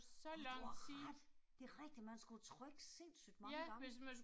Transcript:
Åh du har ret! Det er rigtigt, man skulle jo trykke sindssygt mange gange